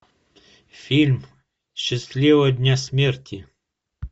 фильм счастливого дня смерти